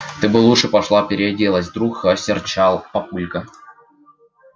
ты бы лучше пошла переоделась вдруг осерчал папулька